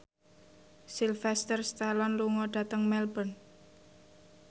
Sylvester Stallone lunga dhateng Melbourne